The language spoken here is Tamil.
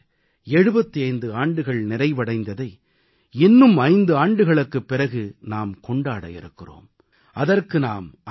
தேசம் விடுதலை பெற்று 75 ஆண்டுகள் நிறைவடைந்ததை இன்னும் 5 ஆண்டுகளுக்குப் பிறகு நாம் கொண்டாட இருக்கிறோம்